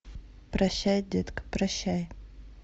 прощай детка прощай